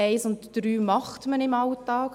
Die Punkte 1 und 3 macht man im Alltag.